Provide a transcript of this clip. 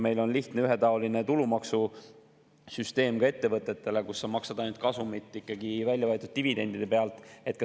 Meil on ka ettevõtetele lihtne ja ühetaoline tulumaksusüsteem, kus makstakse ainult kasumit ikkagi väljavõetud dividendide pealt.